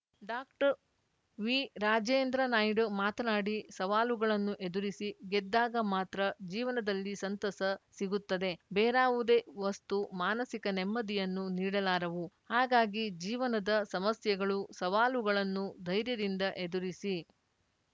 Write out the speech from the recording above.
ಡಾಕ್ಟರ್ವಿರಾಜೇಂದ್ರ ನಾಯ್ಡು ಮಾತನಾಡಿ ಸವಾಲುಗಳನ್ನು ಎದುರಿಸಿ ಗೆದ್ದಾಗ ಮಾತ್ರ ಜೀವನದಲ್ಲಿ ಸಂತಸ ಸಿಗುತ್ತದೆ ಬೇರಾವುದೇ ವಸ್ತು ಮಾನಸಿಕ ನೆಮ್ಮದಿಯನ್ನು ನೀಡಲಾರವು ಹಾಗಾಗಿ ಜೀವನದ ಸಮಸ್ಯೆಗಳು ಸವಾಲುಗಳನ್ನು ಧೈರ್ಯದಿಂದ ಎದುರಿಸಿ